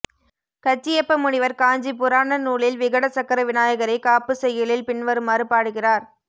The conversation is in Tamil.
கச்சியப்ப முனிவர் காஞ்சி புராண நூலில் விகட சக்கர விநாயகரைக் காப்புச் செய்யுளில் பின்வருமாறு பாடுகிறார்